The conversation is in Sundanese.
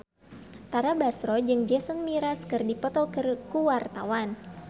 Tara Basro jeung Jason Mraz keur dipoto ku wartawan